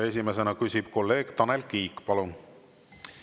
Esimesena küsib kolleeg Tanel Kiik.